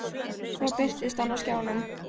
Svo birtist hann á skjánum.